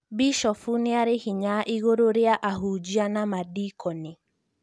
Bishofu nĩari hinya igũrũ rĩa ahunjia na madeconi